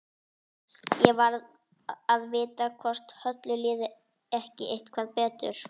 Ég varð að vita hvort Höllu liði ekki eitthvað betur.